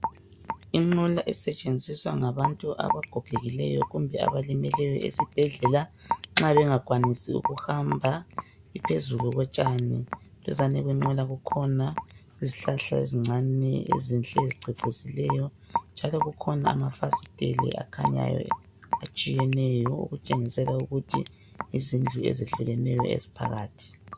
Inqola esetshenziswa ngabantu abagogekileyo kumbe abamileyo esibhedlela, nxa bengakwanisi ukuhamba, iphezulu kotshani. Duzane lenqola kukhona izihlahla ezincane ezinhle ezicecisileyo, njalo kukhona amafasitela akhanyayo atshiyeneyo okutshengisela ukuthi yizindlu ezehlukeneyo eziphakathi.